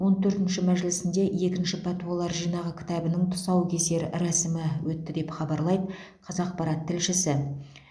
он төртінші мәжілісінде екінші пәтуалар жинағы кітабының тұсаукесер рәсімі өтті деп хабарлайды қазақпарат тілшісі